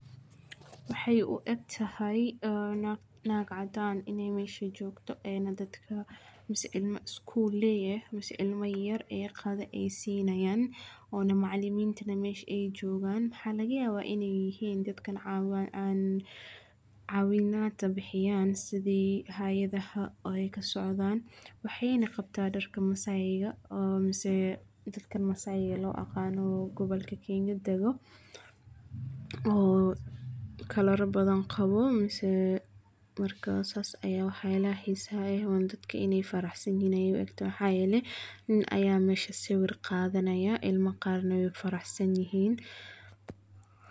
Waxay u eg tahay, ah, naq-naqadaan inay meesha joogto ee na dadka. Iskuul leeyahay is cilmey yar ee qaad ay siinayaan, oo na macallimiin tannan meesh ay joogaan? Xaa, laga yaabaa inay yihiin dadkan caawin. Caawinaanta bixiyaan sidii haayadaha oo ay ka socdaan. Waxay naqabtaa darka masaayiga, ah, misae dadka masaayi loo aqaano gobolkiisa kiinka degan oo ka lara badanqaboo. Markaasas ayaa waxay la haysaa, ay u wanaagsan dadka inay faraxsan yiino ay egto. Waxaa yeley in ayaa meesho sawir qaadaya ilmo qaarna faraxsan yihiin.